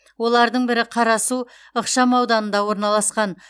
олардың бірі қарасу ықшамауданында орналасқан